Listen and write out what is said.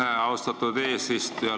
Aitäh, austatud eesistuja!